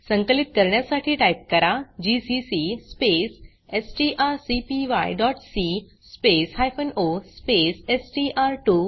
संकलित करण्यासाठी टाइप करा जीसीसी स्पेस strcpyसी स्पेस हायफेन ओ स्पेस एसटीआर2